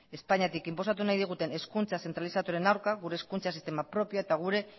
espainiatik inposatu nahi diguten hezkuntza zentralizatuaren aurka gure hezkuntza sistema propioa eta gure